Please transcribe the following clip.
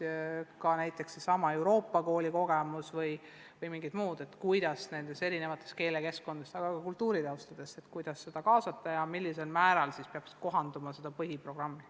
Meil on näiteks Tallinna Euroopa Kooli kogemus selle kohta, kuidas erinevates keelekeskkondades kasvanud ja erineva kultuuritaustaga lapsi ja nende vanemaid kaasata ja millisel määral peab nende jaoks kohandama meie põhiprogrammi.